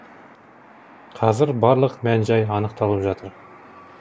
қазір барлық мән жай анықталып жатыр